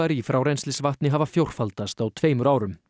í frárennslisvatni hafa fjórfaldast á tveimur árum